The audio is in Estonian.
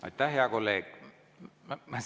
Aitäh, hea kolleeg!